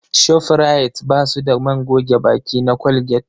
Shofrayit ba su da man goge baki na Colgate